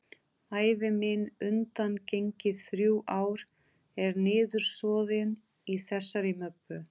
Ævi mín undangengin þrjú ár er niðursoðin í þessari möppu.